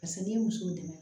Paseke n'i ye muso dɛmɛ